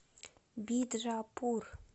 биджапур